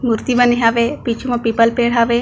मूर्ति बने हावे पिछु म पीपल पेड़ हावे।